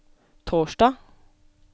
torsdag